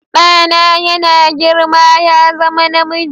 Ɗana yana girma ya zama namiji.